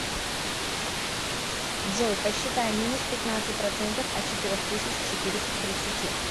джой посчитай минус пятнадцать процентов от четырех тысяч четыреста тридцати